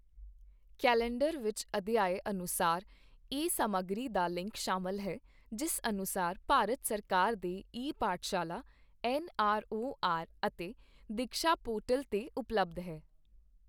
Calendar ਵਿੱਚ ਅਧਿਆਏ ਅਨੁਸਾਰ ਈ ਸਮੱਗਰੀ ਦਾ ਲਿੰਕ ਸ਼ਾਮਲ ਹੈ, ਜਿਸ ਅਨੁਸਾਰ ਭਾਰਤ ਸਰਕਾਰ ਦੇ ਈ ਪਾਠਸ਼ਾਲਾ, ਐਨਆਰਓਆਰ ਅਤੇ ਦੀਕਸ਼ਾ ਪੋਰਟਲ ਤੇ ਉਪਲਬਧ ਹੈ।